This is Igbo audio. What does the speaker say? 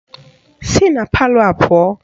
Si na palọ a pụọ!